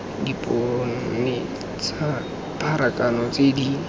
dipone tsa pharakano tse di